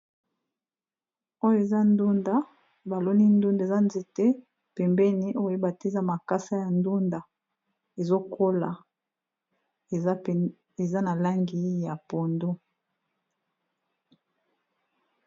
Oyo eza ndunda, ba lonii ndunda eza nzete pembeni, oyo ba tié eza makasa ya ndunda ezo kola, eza na langi ya pondu .